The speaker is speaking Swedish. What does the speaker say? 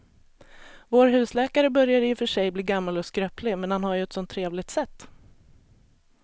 Vår husläkare börjar i och för sig bli gammal och skröplig, men han har ju ett sådant trevligt sätt!